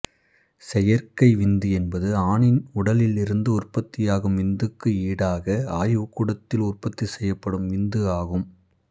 செயற்கை விந்து என்பது ஆணின் உடலில் இருந்து உற்பத்தியாகும் விந்துக்கு ஈடாக ஆய்வுகூடத்தில் உற்பத்தி செய்யப்படும் விந்து ஆகும்